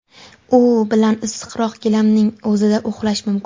U bilan issiqroq, gilamning o‘zida uxlash mumkin.